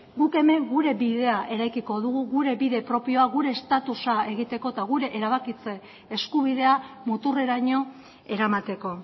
guk hemen gure bidea eraikiko dugu gure bide propioa gure estatusa egiteko eta gure erabakitze eskubidea muturreraino eramateko